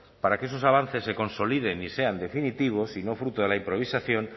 para que esos avances se consoliden y sean definitivos y no fruto de la improvisación